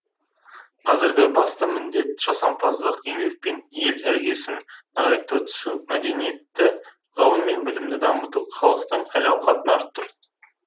қазіргі басты міндет жасампаздық еңбекпен ел іргесін нығайта түсу мәдениетті ғылым мен білімді дамыту халықтың әл ауқатын арттыру